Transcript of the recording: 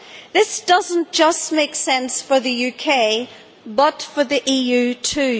This does not just make sense for the UK, but for the EU too.